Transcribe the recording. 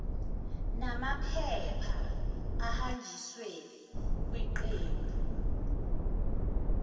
nomaamaphepha ahanjiswe kwiqembu